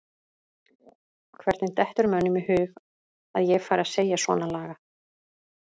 Hvernig dettur mönnum í hug að ég færi að segja svona lagað?